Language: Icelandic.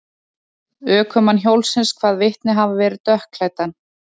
Ökumann hjólsins kvað vitnið hafa verið dökkklæddan.